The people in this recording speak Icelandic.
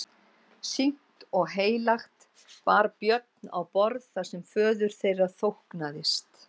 Sýknt og heilagt bar Björn á borð það sem föður þeirra þóknaðist.